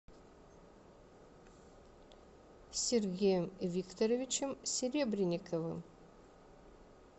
сергеем викторовичем серебренниковым